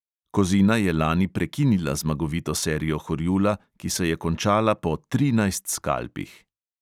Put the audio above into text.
Kozina je lani prekinila zmagovito serijo horjula, ki se je končala po trinajst skalpih.